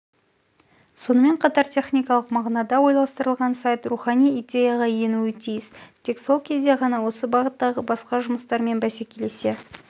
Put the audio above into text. сонымен қатар техникалық мағынада ойластырылған сайт рухани идеяға енуі тиіс тек сол кезде ғана осы бағыттағы басқа жұмыстармен бәсекелесе